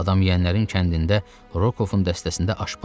Adam yeyənlərin kəndində Rokoffun dəstəsində aşpaz yox idi.